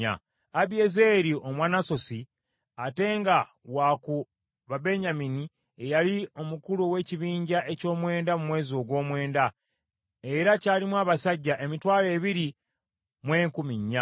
Abiyezeeri Omwanasosi, ate nga wa ku Babenyamini ye yali omukulu ow’ekibinja eky’omwenda mu mwezi ogw’omwenda, era kyalimu abasajja emitwalo ebiri mu enkumi nnya.